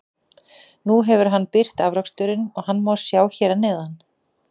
Nú hefur hann birt afraksturinn og hann má sjá hér að neðan.